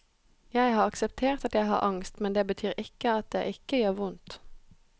Jeg har akseptert at jeg har angst, men det betyr ikke at det ikke gjør vondt.